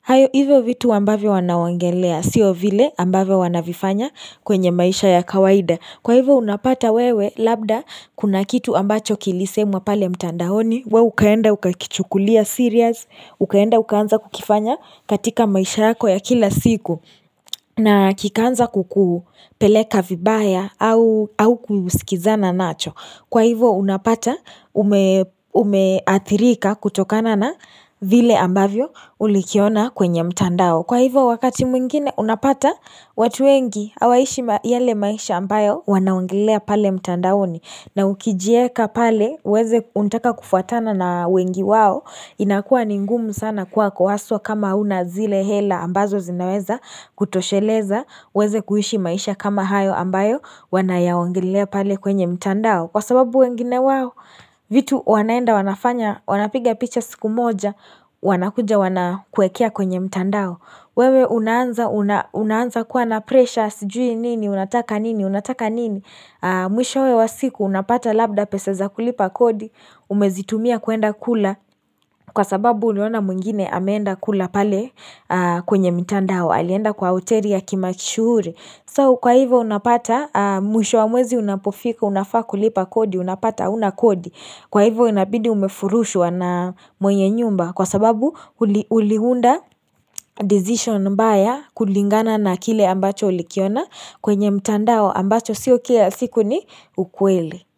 hayo hivyo vitu ambavyo wanaongelea sio vile ambavo wanavifanya kwenye maisha ya kawaida kwa hivyo unapata wewe labda kuna kitu ambacho kilisemwa pale mtandaoni wewe ukaenda ukakichukulia serious ukaenda ukaanza kukifanya katika maisha yako ya kila siku na kikaanza kukupeleka vibaya au haukusikizana nacho Kwa hivo unapata umeathirika kutokana na vile ambavyo ulikiona kwenye mtandao Kwa hivo wakati mwingine unapata watu wengi hawaishi yale maisha ambayo wanaongelea pale mtandaoni na ukijieka pale unataka kufuatana na wengi wao inakua ni ngumu sana kuwa kwa haswa kama huna zile hela ambazo zinaweza kutosheleza ueze kuishi maisha kama hayo ambayo Wanayaongelea pale kwenye mtandao Kwa sababu wengine wao vitu wanaenda wanafanya Wanapiga picha siku moja Wanakuja wanakuwekea kwenye mtandao wewe unaanza kuwa na pressure sijui nini, unataka nini, unataka nini Mwisho wa siku unapata labda pesa za kulipa kodi Umezitumia kuenda kula Kwa sababu uliona mwingine ameenda kula pale kwenye mtandao alienda kwa hoteli ya kimashuuri so kwa hivyo unapata mwisho wa mwezi unapofika unafaa kulipa kodi unapata hauna kodi kwa hivyo unabidii umefurushwa na mwenye nyumba kwa sababu uliunda decision mbaya kulingana na kile ambacho ulikiona kwenye mtandao ambacho sio kila siku ni ukweli.